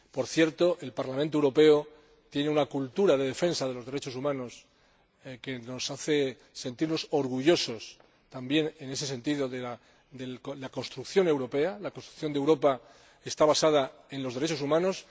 Por cierto, el Parlamento Europeo tiene una cultura de defensa de los derechos humanos que nos hace sentirnos orgullosos, también en ese sentido, de la construcción europea, ya que la construcción de Europa está basada en los derechos humanos.